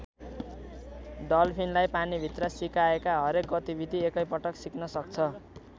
डल्फिनलाई पानीभित्र सिकाएका हरेक गतिविधि एकैपल्ट सिक्न सक्छ।